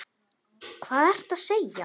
Hvað ertu að segja?